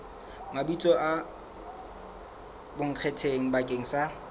mabitso a bonkgetheng bakeng sa